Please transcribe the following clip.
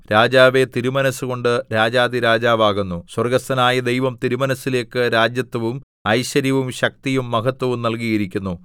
രാജാവേ തിരുമനസ്സുകൊണ്ട് രാജാധിരാജാവാകുന്നു സ്വർഗ്ഗസ്ഥനായ ദൈവം തിരുമനസ്സിലേക്ക് രാജത്വവും ഐശ്വര്യവും ശക്തിയും മഹത്വവും നല്കിയിരിക്കുന്നു